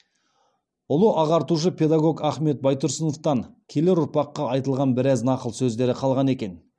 ұлы ағартушы педагог ахмет байтұрсыновтан келер ұрпаққа айтылған біраз нақыл сөздер қалған екен